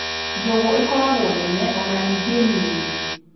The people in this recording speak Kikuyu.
Njũgũ ikoragwo nene ona ningĩ nini.